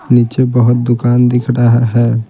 नीचे बहुत दुकान दिख रहा है।